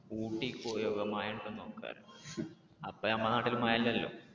ഊട്ടി പോയി നോക്കാം മഴ ഉണ്ടോ എന്ന് നോക്കാം എന്ന്. അപ്പൊ നമ്മുടെ നാട്ടില് മഴ ഇല്ലല്ലോ.